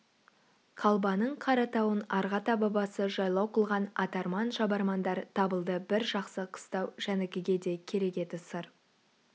қалбаның қаратауын арғы ата-бабасы жайлау қылған атарман-шабармандар табылды бір жақсы қыстау жәнікеге де керек еді сыр